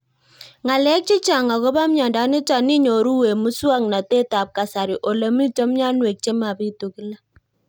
Ng'alek chechang' akopo miondo nitok inyoru eng' muswog'natet ab kasari ole mito mianwek che mapitu kila